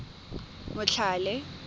motlhale